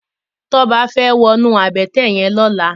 Toba fè wònú àbëtè yèn lòlá